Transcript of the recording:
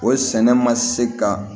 O sɛnɛ ma se ka